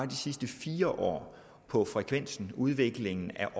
de sidste fire år på frekvensen og på udviklingen af